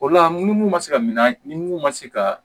O la mun man se ka minanw ma se ka